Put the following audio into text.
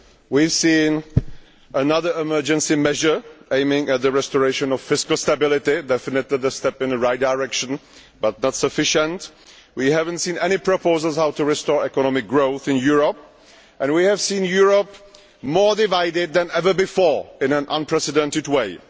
We have seen another emergency measure which aims to restore fiscal stability definitely a step in the right direction, but not sufficient. We have not seen any proposals on how to restore economic growth in Europe and we have seen Europe more divided that ever before in an unprecedented way.